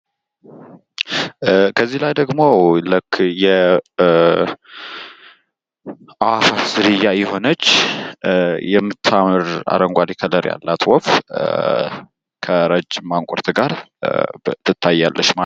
ከዚህ ላይ ደግሞ ልክ የአእዋፋት ዝርያ የሆነች የምታምር አረንጓዴ ከለር ያላት ወፍ ከረጅም ማንቁርት ጋር ትታያለች።